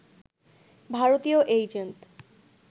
ভারতীয় এজেন্ট